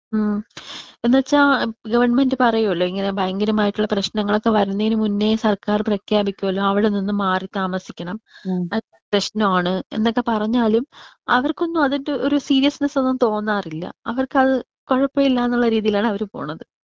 അതെ അതെ എന്ന് വെച്ച ഗവണ്മെന്റ് പറയോലോ ഇങ്ങനെ ഭയങ്കരമായിട്ടുള്ള പ്രേശ്നങ്ങോളൊക്കെ വരുന്നേനു മുന്നേ സർകാർ പ്രഖ്യാപിക്കൊലോ അവിടെനിന്ന് മാറി താമസിക്കണം അത് പ്രശ്നമാണ് എന്നൊക്കെ പറഞ്ഞാലും അവർക്ക് ഒന്നും അതിന്റെ ഒരു സീരിയസ്നസ് തോന്നാറില്ല. അവർക്ക് അത് കുഴപ്പില്ല എന്നുള്ള രീതിയിലാണ് അവര് പോണത്.